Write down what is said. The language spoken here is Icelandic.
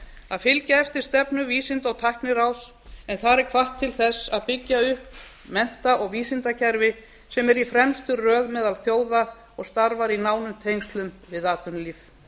að fylgja eftir stefnu vísinda og tækniráðs en þar er hvatt til þess að byggja upp mennta og vísindakerfi sem er í fremstu röð meðal þjóða og starfar í nánum tengslum við atvinnulíf